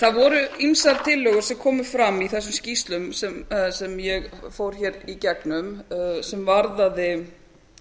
það voru ýmsar tillögur sem komu fram í þessum skýrslum sem ég fór hér í gegnum sem varðaði